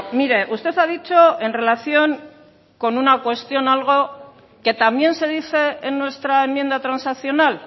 mire usted ha dicho en relación con una cuestión algo que también se dice en nuestra enmienda transaccional